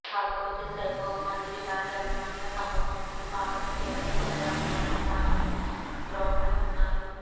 కాకపోతే సెహ్వాగ్ మాదిరి భారీ అభిమానుల సమూహం ముందు కాకుండా కేవలం కొందరు అభిమానులు మాత్రమే గ్రౌండ్ లో ఉన్నారు